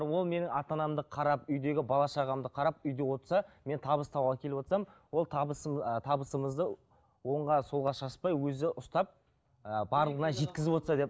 ол менің ата анамды қарап үйдегі бала шағамды қарап үйде отырса мен табыс тауып әкеліп отырсам ол табысым ы табысымызды оңға солға шашпай өзі ұстап ыыы барлығына жеткізіп отырса деп